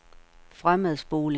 fremadspoling